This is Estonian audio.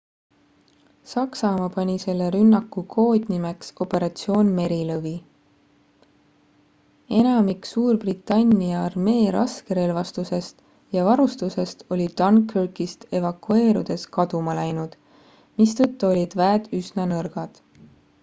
saksamaa pani selle rünnaku koodnimeks operatsioon merilõvi enamik suurbritannia armee raskerelvastusest ja varustusest oli dunkirkist evakueerudes kaduma läinud mistõttu olid väed üsna nõrgad